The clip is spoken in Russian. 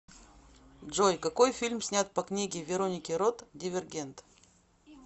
джой какои фильм снят по книге вероники рот дивергент